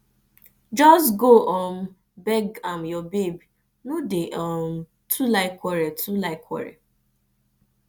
just go um beg am your babe no dey um too like quarrel too like quarrel